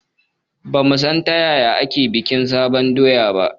Ba mu san ta yaya ake bikin fitowan sabon doya ba